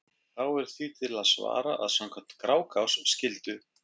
þá er því til að svara að samkvæmt grágás skyldu